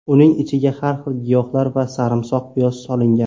Uning ichiga har xil giyohlar va sarimsoq piyoz solingan.